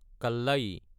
কল্লায়ী